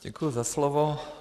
Děkuji za slovo.